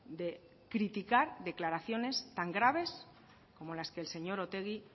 de criticar declaraciones tan graves como las que el señor otegi